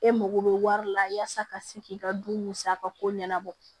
E mago bɛ wari la yasa ka se k'i ka dun musaka ko ɲɛnabɔ